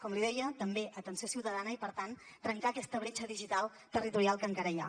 com li deia també atenció ciutadana i per tant trencar aquesta bretxa digital territorial que encara hi ha